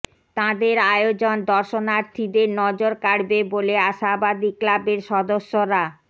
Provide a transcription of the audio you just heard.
তাঁদের আয়োজন দর্শনার্থীদের নজর কাড়বে বলে আশাবাদী ক্লাবের সদস্যরা